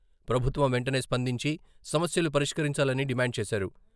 ప్రభుత్వం వెంటనే స్పందించి సమస్యలు పరిష్కరించాలని డిమాండ్ చేశారు.